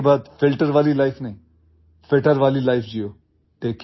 आज के बाद ଫିଲ୍ଟର वाली ଲାଇଫ୍ नहीं ଫିଟର वाली ଲାଇଫ୍ जियो